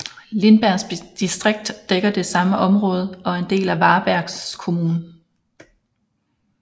Lindbergs distrikt dækker det samme område og er en del af Varbergs kommun